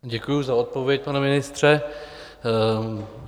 Děkuji za odpověď, pane ministře.